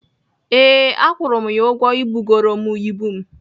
Ee, akwụru m ya ụgwọ ibugoro m ibu m.